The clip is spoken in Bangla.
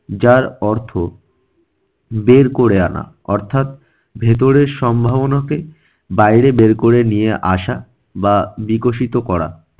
যার অর্থ বের করে আনা অর্থাৎ ভেতরের সম্ভাবনাকে বাইরে বের করে নিয়ে আসা বা বিকশিত করা।